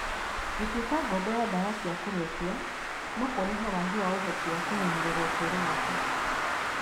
Gũtuĩka ngombo ya ndawa cia kũrebia no kũrehe waagi wa ũhoti wa kũmenyerera ũtũũro wake.